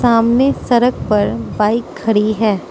सामने सड़क पर बाइक खड़ी है।